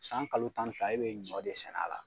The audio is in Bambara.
San kalo tan ni fila e bɛ ɲɔ de sɛnɛ a la.